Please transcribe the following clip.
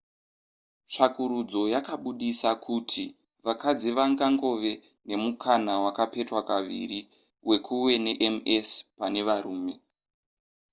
tsvakurudzo yakabudisa kuti vakadzi vangangove nemukana wakapetwa kaviri wekuve nems pane varume